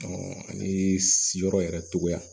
ani yɔrɔ yɛrɛ togoya